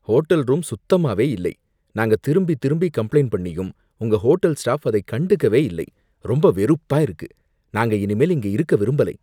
Hotel room சுத்தமாவே இல்லை, நாங்க திரும்பி திரும்பி கம்ப்ளைண்ட் பண்ணியும் உங்க ஹோட்டல் ஸ்டாஃப் அதை கண்டுக்கவே இல்லை, ரொம்ப வெறுப்பா இருக்கு, நாங்க இனிமேல் இங்க இருக்க விரும்பலை.